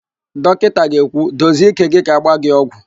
Dọkịnta ga-ekwu, dozie ike gị ka agba gị ọgwụ!